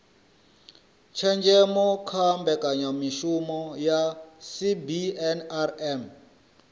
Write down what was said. tshenzhemo kha mbekanyamishumo dza cbnrm